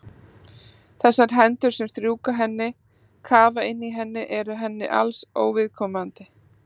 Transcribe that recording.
Þessar hendur sem strjúka henni, kafa inn í henni eru henni alls óviðkomandi.